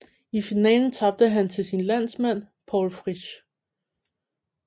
I finalen tabte han til sin landsmand Paul Fritsch